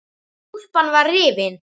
Úlpan var rifin.